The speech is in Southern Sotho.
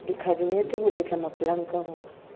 dikhabinete ho betla mapolanka ho